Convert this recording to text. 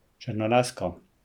Črnolasko.